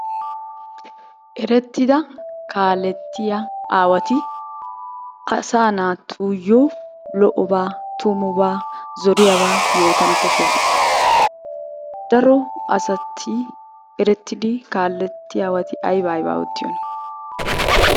Erettida kaalettiya aawti asaa naatuyyo lo"obaa tummubaa, zoriyaabaa yootana koshshoosona. Daro asati erettidi kaalettiyabati ayba ayba oottiyona?